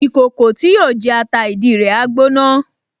Ìkòkò tí yóò jẹ ata ìdí rẹ̀ á gbóná